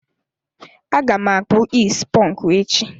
Aga m akpụ is ponku echi.